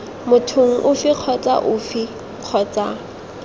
mothong ofe kgotsa ofe kgotsa